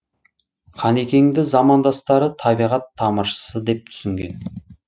қанекеңді замандастары табиғат тамыршысы деп түсінген